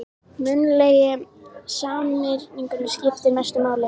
Munnlegi samningurinn skiptir mestu máli